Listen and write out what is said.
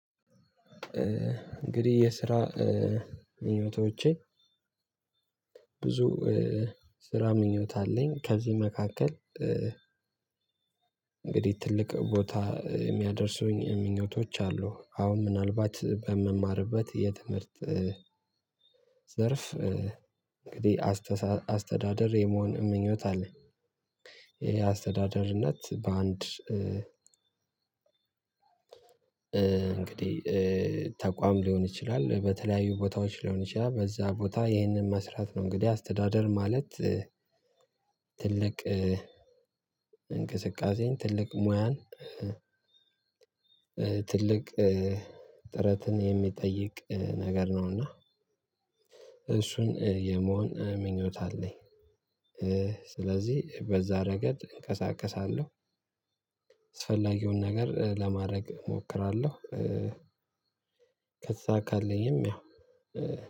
እንግዲህ የስራ ምኞቶቼ ብዙ ስራ ምኞት አለኝ። ከዚህ መካከል እንግዲህ ትልቅ ቦታ የሚያደርሱኝ ምኞቶች አሉ። አሁን ምናልባት በምማርበት የትምህርት ዘርፍ እንግዲህ አስተሳ አስተዳደር የመሆን ምኞት አለኝ። ይሄ አስተዳደርነት በአንድ እንግዲህ ተቋም ሊሆን ይችላል በተለያዩ ቦታዎች ሊሆን ይችላል በዛ ቦታ ይህንን መስራት ነው እንግዲህ አስተዳደር ማለት ትልቅ እንቅስቃሴን ትልቅ ሙያን ትልቅ ጥረትን የሚጠይቅ ነገር ነው እና እሱን የመሆን ምኞት አለኝ። ስለዚህ በዛ ረገድ እንቀሳቀሳለሁ። አስፈላጊውን ነገር ለማድረግ እሞክራለሁ። ከተሳካልኝም ያው